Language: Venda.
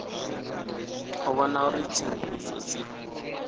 u vhona uri tsenguluso dzi